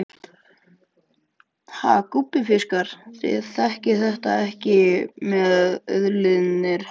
Ha gúbbífiskar, þið þekkið þetta með auðlindir hafsins.